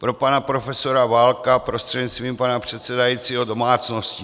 Pro pana profesora Válka prostřednictvím pana předsedajícího - domácností.